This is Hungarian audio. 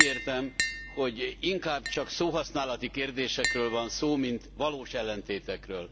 Már úgy értem, hogy inkább csak szóhasználati kérdésekről van szó, mint valós ellentétekről.